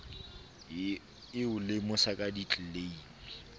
e o lemosa ka ditleleime